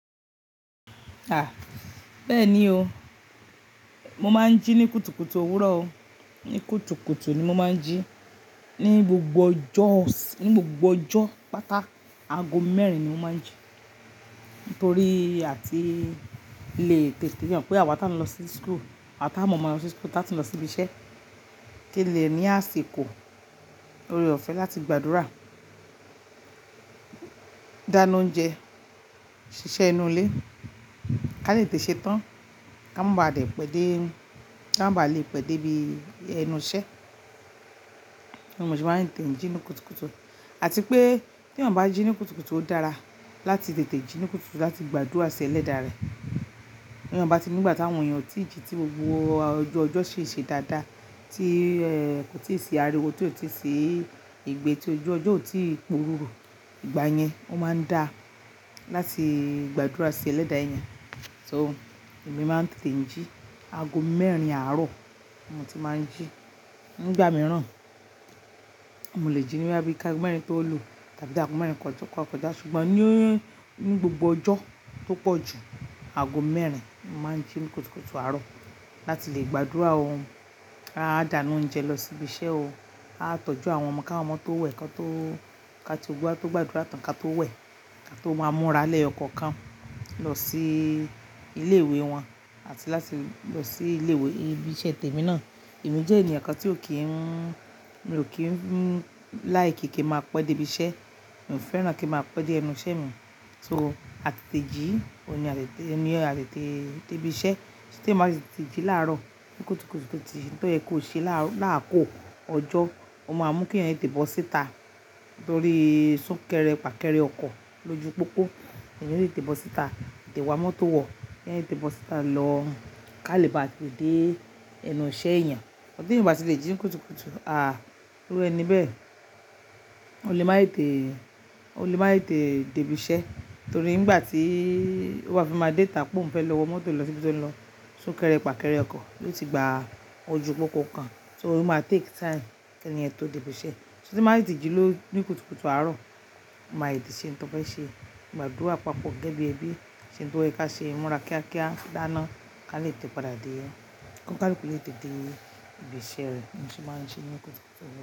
Ah! Bẹ́ẹ̀ni o, mo máa ń jí ní kùtùkùtù òwúrọ̀ o, ní kùtùkùtù ni mo máa ń jí. Ní gbogbo ọjọ́, ní gbogbo ọjọ́ pátá, ago mẹ́rin ni mo máa ń jí. Nítorí a ti le tètè mọ̀ so mọpé àwa tí à ń lọ sí school, àwa táa mọ̀ máa lọ sí school, táa ti lọ sí ibi iṣẹ́. Kí lè ní àsìkò, lóreọ̀fẹ́ láti gbàdúrà, dáná oúnjẹ, ṣiṣẹ́ inú ilé, ká lè tètè ṣe tán, ká má baà lè pẹ́ dé, ká má baà lè pẹ́ dé ibi ẹnu iṣẹ́. Mo sì máa ń tètè jí ní kùtùkùtù. Àti pé tí èèyàn bá jí ní kùtùkùtù ó dára, láti tètè jí ní kùtùkùtù láti gbàdúrà sí Ẹlẹ́da rẹ̀. Tí èyàn batí nígbà táwọn èèyàn ò tíì jí tí gbogbo ọju ọjọ ṣi ṣe dáadáa, tí kò tíì ṣi ariwo, tí kò tíì ṣi ìgbẹ́, tí ojú ọjọ́ kò tíì pu ruru, ìgbà yẹn ó máa ń dá láti gbàdúrà sí Ẹlẹ́dà ẹyan. So, èmi máa ń tètè jí ago mẹ́rin àárọ̀ ni mo ti máa ń jí. Ní ìgbà mìíràn, mo lè jí ní bí bóyá kí agọ mẹ̀rin tó lu tàbí ago mẹ́rin koto kọ̀ja. Ṣùgbọ́n ní gbogbo ọjọ́ tó pọ̀jù, ago mẹ́rin ni mo máa ń jí ní kùtùkùtù àárọ̀ láti lè gbàdúrà. Aá dáná oúnjẹ lọ sí ibi iṣẹ́ o, á tọ́jú àwọn ọmọ káwọn ọmọ tó wẹ̀, ká tó gbàdúrà tán ká tó wẹ̀, ká tó máa múra lẹ́yo kankan lọ sí ilé ìwé wọn àti láti lọ sí ilé ìwé ibi iṣẹ́ tèmi náà. Èmi jẹ́ èèyàn kan tí ò kíń, mi ò kíń like kí kín máa pẹ́ dé ibi iṣẹ́. Mi ò fẹ́ràn kín máa pẹ́ dé ẹnu iṣẹ́ mi. So, a tètè jí, òun ni a tètè dé ibi iṣẹ́. Tí èyàn bá tètè jí láàárọ̀ ní kùtùkùtù tó yẹ kó ṣe láàkokò ọjọ́, ó máa mú kí èèyàn tètè bọ́ síta nítorí sún kẹ́rẹ fàkẹ́rẹ ọkọ̀ lójú pópó. Èyàn le tètè bọ́ síta, tètè wá mọ́tò wọ̀, kí èèyàn tètè bọ́ síta lọ ká lè ba à tètè dé ẹnu iṣẹ́ èèyàn. Tí èyàn ò bá ti lẹ jí ní kùtùkùtù, àah! Irú ẹni bẹ́ẹ̀. O lè máì tètè, o lè máa tètè dé ibi iṣẹ́ nítorí ìgbà tíi ó bá fi máa déta pé òun fẹ́ lọ wọ mọ́tò lọ síbi tó ń lọ, sún kẹ́rẹ fàkẹ́rẹ ọkọ̀ yóò ti gba ojú pópó kan. So, ó máa take time kí ẹni yẹn tó dé ibi iṣẹ́. Mi máa tètè jí lóru ní kùtùkùtù àárọ̀, a máa lè tètè ṣe ohun tó fẹ́ ṣe, gbàdúrà papọ̀ gẹ́gẹ́ bí ẹbí, ṣe ohun tó yẹ ká ṣe, múra kíákíá, dáná ká lè tètè padà dé. Kọ́ni káaluku lè tètè dé ibi iṣẹ́ rẹ̀. Ní sì máa ń jí ní kùtùkùtù.